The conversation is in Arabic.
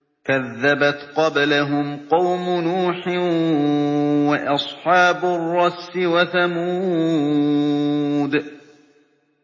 كَذَّبَتْ قَبْلَهُمْ قَوْمُ نُوحٍ وَأَصْحَابُ الرَّسِّ وَثَمُودُ